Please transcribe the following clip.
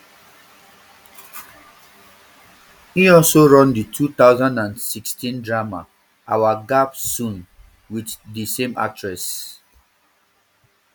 e also run di two thousand and sixteen drama our gap soon um wit di same actress